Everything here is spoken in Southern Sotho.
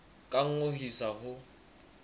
ka nngwe ho isa ho